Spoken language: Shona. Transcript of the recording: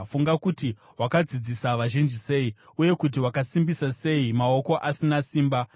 Funga kuti wakadzidzisa vazhinji sei, uye kuti wakasimbisa sei maoko asina simba.